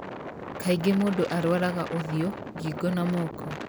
Kaingĩ mũndũ arwaraga ũthiũ, ngingo, na moko.